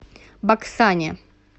баксане